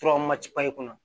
kɔnɔ